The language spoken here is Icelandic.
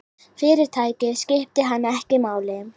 Fyrirtækið skipti hann ekki máli.